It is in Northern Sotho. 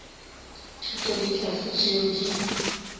thuto le tlhahlo tšeo di